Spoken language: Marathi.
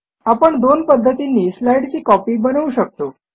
आपण दोन पध्दतींनी स्लाईडची कॉपी बनवू शकतो